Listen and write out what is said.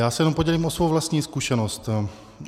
Já se jenom podělím o svou vlastní zkušenost.